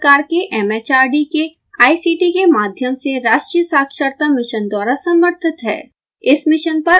यह भारत सरकार के एम एच आर डी के ict के माध्यम से राष्ट्रीय साक्षरता मिशन द्वारा समर्थित है